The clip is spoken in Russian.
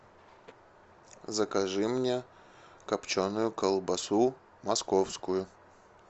закажи мне копченую колбасу московскую